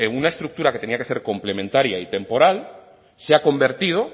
una estructura que tenía que ser complementaria y temporal se ha convertido